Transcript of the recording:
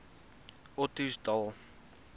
ottosdal